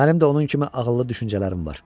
Mənim də onun kimi ağıllı düşüncələrim var.